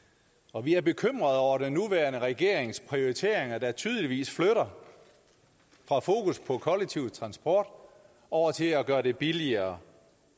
og vi er bekymrede over den nuværende regerings prioriteringer der tydeligvis flytter fra fokus på kollektiv transport over til at gøre det billigere